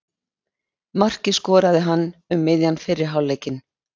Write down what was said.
Markið skoraði hann um miðjan fyrri hálfleikinn.